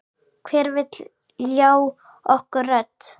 Hver vill ljá okkur rödd?